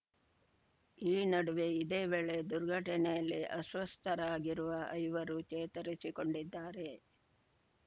ಈ ನಡುವೆ ಇದೇ ವೇಳೆ ದುರ್ಘಟನೆಯಲ್ಲಿ ಅಸ್ವಸ್ಥರಾಗಿರುವ ಐವರೂ ಚೇತರಿಸಿಕೊಂಡಿದ್ದಾರೆ